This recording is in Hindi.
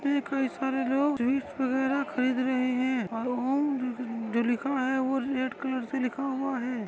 उसमे कही सारे लोग स्वीट वगेरा खरीद रहे हैं और वहाँ जो लिखा हुआ हैं वो रेड कलर से लिखा हुआ हैं।